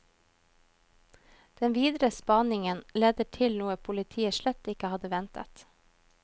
Den videre spaningen leder til noe politiet slett ikke hadde ventet.